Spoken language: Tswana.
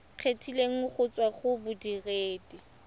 kgethegileng go tswa go bodiredi